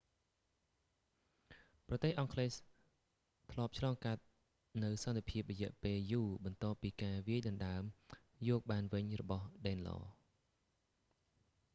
ប្រទេសអង់គ្លេសធ្លាប់ឆ្លងកាត់នូវសន្តិភាពរយៈពេលយូរបន្ទាប់ពីការវាយដណ្តើមយកបានវិញរបស់ដេនឡរ danelaw